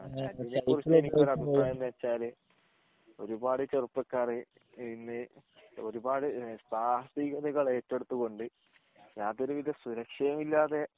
ഒരുപാട് ചെറുപ്പക്കാർ ഇനി ഒരുപാട് സാഹസികതൾ ഏറ്റെടുത്ത് കൊണ്ട് യാതൊരു വിധ സുരക്ഷയും